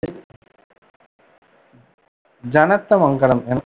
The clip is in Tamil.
ஜனநாதமங்கலம் என